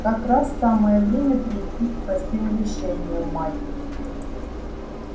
как раз самое время перейти к простым решениям майк